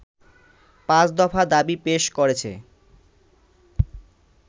পাঁচ দফা দাবি পেশ করেছে